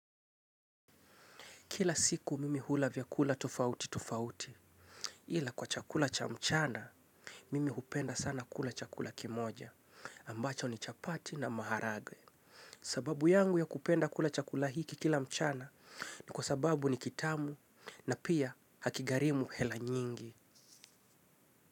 Kila siku mimi hula vyakula tofauti tofauti. Ila kwa chakula cha mchana, mimi hupenda sana kula chakula kimoja. Ambacho ni chapati na maharage. Sababu yangu ya kupenda kula chakula hiki kila mchana ni kwa sababu ni kitamu na pia hakigarimu hela nyingi.